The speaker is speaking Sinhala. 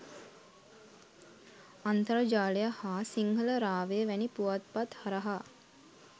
අන්තර්ජාලය හා සිංහල රාවය වැනි පුවත්පත් හරහා